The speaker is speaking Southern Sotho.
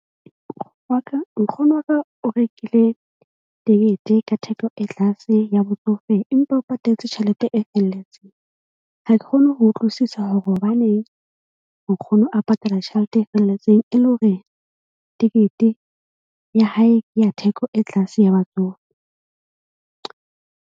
Wa ka nkgono wa ka o rekile tekete ka theko e tlase ya botsofe, empa o patetse tjhelete e felletseng. Ha ke kgone ho utlwisisa hore hobaneng nkgono a patala tjhelete e felletseng e le hore tekete ya hae ya theko e tlase ya batsofe.